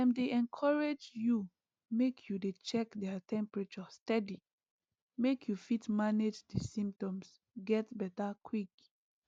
dem dey encourage you make you dey check their temperature steady make you fit manage di symptoms get beta quick